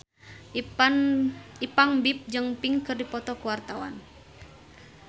Ipank BIP jeung Pink keur dipoto ku wartawan